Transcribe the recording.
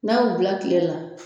N'a y'u bila kile la